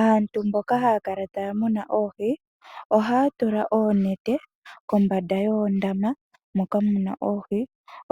Aantu mboka haya kala taa muna oohi, ohaya tula oonete kombanda yoondama moka mu na oohi